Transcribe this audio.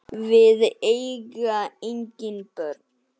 Við eiga engin börn.